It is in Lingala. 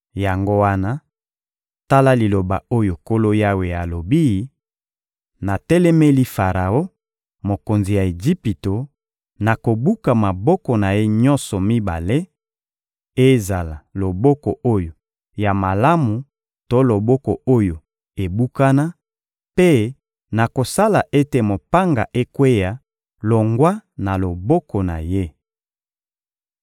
Yango wana, tala liloba oyo Nkolo Yawe alobi: Natelemeli Faraon, mokonzi ya Ejipito; nakobuka maboko na ye nyonso mibale: ezala loboko oyo ya malamu to loboko oyo ebukana; mpe nakosala ete mopanga ekweya longwa na loboko na ye.